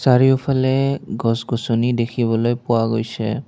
চাৰিওফালে গছ-গছনি দেখিবলৈ পোৱা গৈছে।